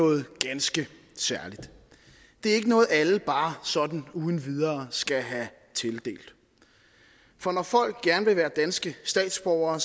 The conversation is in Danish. noget ganske særligt det er ikke noget alle bare sådan uden videre skal have tildelt for når folk gerne vil være danske statsborgere